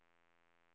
Hallgren